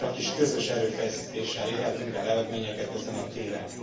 Csakis közös erőfeszítéssel érhetünk el eredményeket ezen a téren.